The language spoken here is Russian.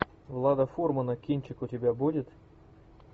влада фурмана кинчик у тебя будет